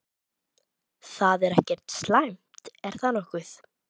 Það er ekkert slæmt, er það nokkuð?